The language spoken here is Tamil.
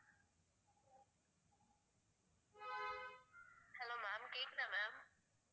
Hello ma'am கேக்குதா ma'am?